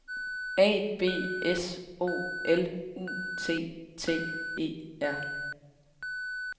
A B S O L U T T E R